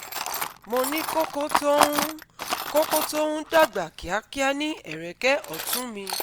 Mo ní koko tó ń koko tó ń dàgbà kíákíá ní ẹ̀rẹ̀kẹ́ ọ̀tún mi